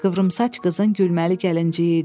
Qıvrımsaç qızın gülməli gəlinciyi idi.